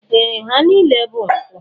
Ee! Ha niile bụ nkwụ.